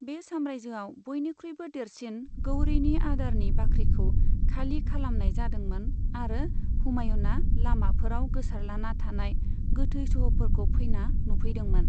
बे साम्रायजोआव बयनिख्रुइबो देरसिन गौरीनि आदारनि बाख्रिखौ खालि खालामनाय जादोंमोन आरो हुमायूनआ लामाफोराव गोसारलाना थानाय गोथै सह'फोरखौ फैना नुफैदोंमोन।